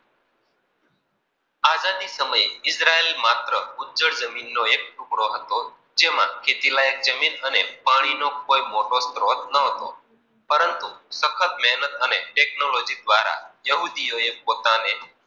આઝાદી સમયે ઇઝરાયલ માંત્ર ઉજજવળજર્મીન નો એક ટુકડો હતો. જેમાં ખેતી લાયક જમીન અને પાણી કોઈ મોટો સ્રોત ન હતો. પરંતુ સક્કહત મેહનત અને ટેકનોલોજી દ્વારા યોગિધો યે પોતાને